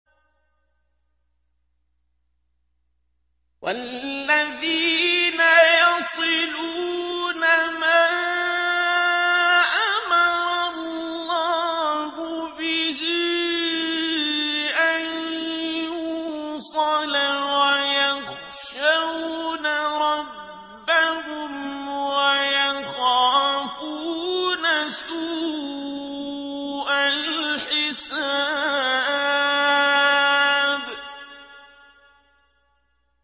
وَالَّذِينَ يَصِلُونَ مَا أَمَرَ اللَّهُ بِهِ أَن يُوصَلَ وَيَخْشَوْنَ رَبَّهُمْ وَيَخَافُونَ سُوءَ الْحِسَابِ